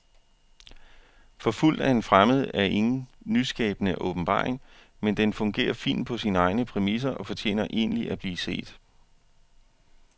Forfulgt af en fremmed er ingen nyskabende åbenbaring, men den fungerer fint på sine egne præmisser og fortjener egentlig at blive set.